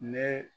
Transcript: Ne